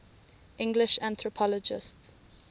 english anthropologists